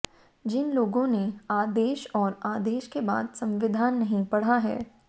जिन लोगों ने आदेश और आदेश के बाद संविधान नहीं पढ़ा है